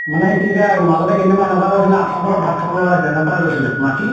মানে সেইটো area মাজতে কেইদিন মান এনেকুৱা হৈছিলে আঠুৱাৰ তলত ভাত খাব লগা হৈছে। এনেকুৱা হৈ গৈছিলে মাখি।